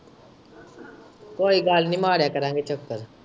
ਕੋਈ ਗੱਲ ਨੀ ਮਾਰਿਆ ਕਰਾਂਗੇ ਚੱਕਰ।